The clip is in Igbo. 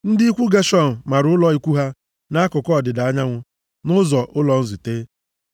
Ndị ikwu Geshọn mara ụlọ ikwu ha nʼakụkụ ọdịda anyanwụ, nʼazụ ụlọ nzute.